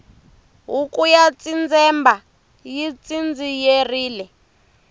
huku ya tsindzemba yi tsindziyerile